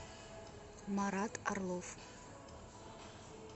марат орлов